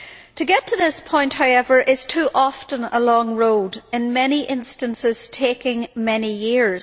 To get to this point, however, is too often a long road, in many instances taking many years.